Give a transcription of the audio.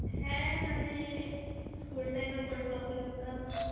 হ্যাঁ মানে school time এ football খেলতাম.